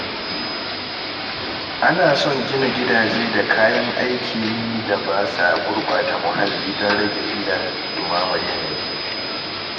Ana son gina gidaje da kayan aikin da ba sa gurɓata muhalli don rage illar ɗumamar yanayi.